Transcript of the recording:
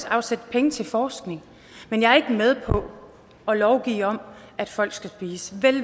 afsætte penge til forskning men jeg er ikke med på at lovgive om hvad folk skal spise selv